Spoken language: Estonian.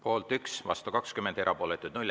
Poolt 1, vastu 20, erapooletuid 0.